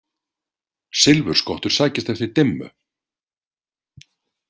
Silfurskottur sækjast eftir dimmu.